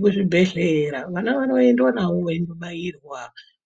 Muzvibhedhlera vana vanoendwa navo veimbobairwa